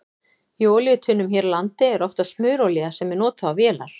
Í olíutunnum hér á landi er oftast smurolía sem er notuð á vélar.